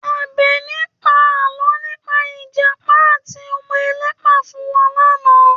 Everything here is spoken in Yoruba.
Àbẹ̀ní pa àlọ́ nípa Ìjàpá àti ọmọ ẹlẹ́pà fún wa lánàá